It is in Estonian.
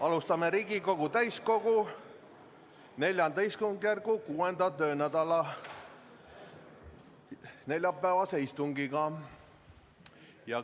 Alustame Riigikogu täiskogu IV istungjärgu 6. töönädala neljapäevast istungit.